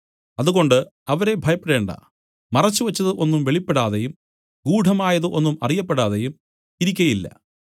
അതുകൊണ്ട് അവരെ ഭയപ്പെടേണ്ടാ മറച്ചുവച്ചത് ഒന്നും വെളിപ്പെടാതെയും ഗൂഢമായത് ഒന്നും അറിയപ്പെടാതെയും ഇരിക്കയില്ല